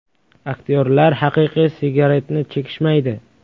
Aktyorlar haqiqiy sigaretni chekishmaydi.